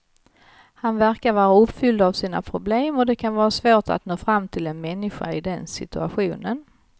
Han verkar vara uppfylld av sina problem och det kan vara svårt att nå fram till en människa i den situationen.